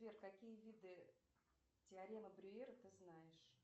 сбер какие виды теоремы брюера ты знаешь